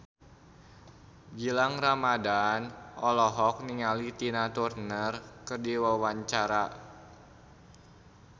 Gilang Ramadan olohok ningali Tina Turner keur diwawancara